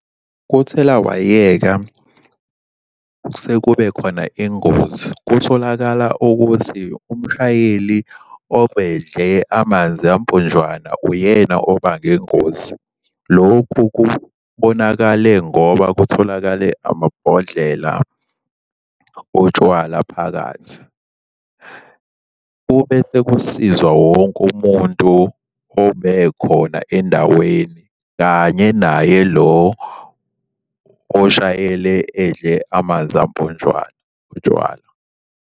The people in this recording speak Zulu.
Kuthelawayeka sekubekhona ingozi. Kutholakala ukuthi umshayeli obedle amanzi amponjwana uyena obange ingozi. Lokhu kubonakale ngoba kutholakale amabhodlela otshwala phakathi. Kube sekusizwa wonke umuntu obekhona endaweni kanye naye lo oshayele edle amanzi amponjwana, utshwala.